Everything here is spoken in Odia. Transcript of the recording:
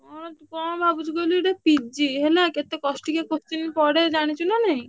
କଣ ତୁ କଣ ଭାବୁଛୁ କହିଲୁ ଏଇଟା PG ହେଲା କେତେ କଷ୍ଟିକିଆ question ପଡେ ଜାଣିଛୁ ନାଁ ନାଇଁ।